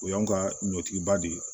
O y'anw ka ɲɔtigba de ye